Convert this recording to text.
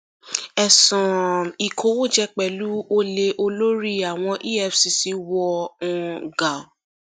ẹsùn um ìkówójẹ pẹlú olè olórí àwọn efcc wọ um gà